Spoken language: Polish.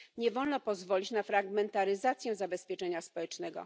Nie wolno pozwolić na fragmentaryzację zabezpieczenia społecznego.